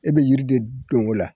E bɛ yiri de don o la